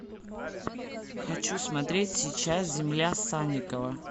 хочу смотреть сейчас земля санникова